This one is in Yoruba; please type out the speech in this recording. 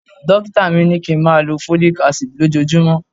Dókítà mi ní kí ń máa lọ Folic Acid lójojúmọ́.